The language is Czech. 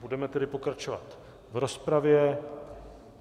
Budeme tedy pokračovat v rozpravě.